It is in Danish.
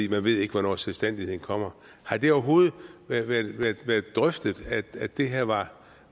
ved ikke hvornår selvstændigheden kommer har der overhovedet været drøftet at det her var